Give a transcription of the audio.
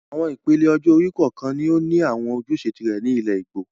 Àwọn ìpele ọjọ́-orí kọ̀ọ̀kan ni ó ní àwọn ojúṣe tìrẹ ní ilẹ̀ Ìgbò